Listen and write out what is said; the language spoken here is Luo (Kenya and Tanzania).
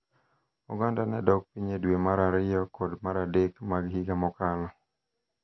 Oganda ne dok piny e dwe mar ariyo kod mar adek mag higa mokalo,